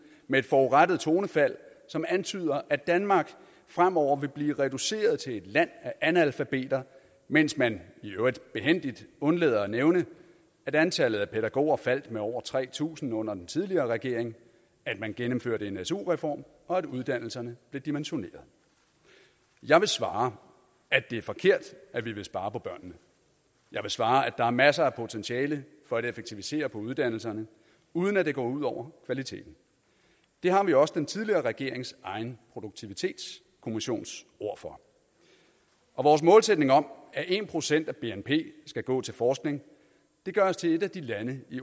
med et forurettet tonefald som antyder at danmark fremover vil blive reduceret til et land af analfabeter mens man i øvrigt behændigt undlader at nævne at antallet af pædagoger faldt med over tre tusind under den tidligere regering at man gennemførte en su reform og at uddannelserne blev dimensioneret jeg vil svare at det er forkert at vi vil spare på børnene jeg vil svare at der er masser af potentiale for at effektivisere på uddannelserne uden at det går ud over kvaliteten det har vi også den tidligere regerings egen produktivitetskommissions ord for og vores målsætning om at en procent af bnp skal gå til forskning gør os til et af de lande i